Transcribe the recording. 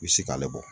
I bɛ se k'ale bɔ